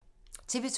TV 2